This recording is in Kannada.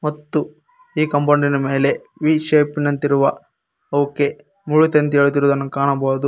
ಮತ್ತು ಈ ಕಾಂಪೌಂಡಿನ ಮೇಲೆ ವೀ ಶೇಪಿನಂತಿರುವ ಓಕೆ ಮುಳ್ಳು ತಂತಿ ಎಳೆದಿರುವುದನ್ನು ಕಾಣಬಹುದು.